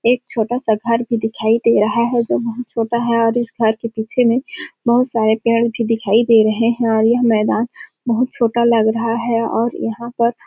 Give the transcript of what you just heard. एक छोटा- सा घर भी दिखाई दे रहा है जहाँ तोता है और इस घर के पीछे में बहुत सारे पेड़ भी दिखाई दे रहे है और यह मैदान बहुत छोटा लग रहा है और यहाँ पर --